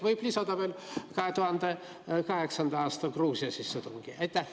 Võib lisada veel 2008. aasta sissetungi Gruusiasse.